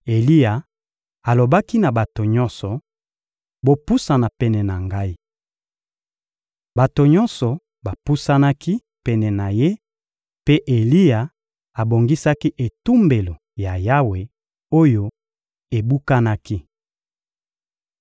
Eliya alobaki na bato nyonso: — Bopusana pene na ngai! Bato nyonso bapusanaki pene na ye mpe Eliya abongisaki etumbelo ya Yawe oyo ebukanaki.